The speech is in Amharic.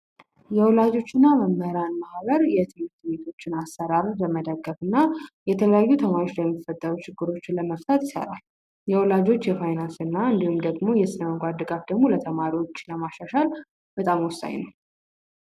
የወላጆችና መምህራን ማህበር ቤቶችን አሰራሩ በመደገፍ እና የተለያዩ ችግሮች የወላጆች የፋይናንስና እንዲሁም ደግሞ ለተማሪዎች ለማሻሻል በጣም ወሳኝ ነው።